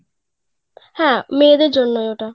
হ্যাঁ মেয়েদের জন্যই ওটা